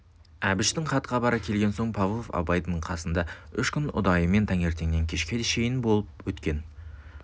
әбіштің жат хабары келген соң павлов абайдың қасында үш күн ұдайымен таңертеңнен кешке шейін болып өткен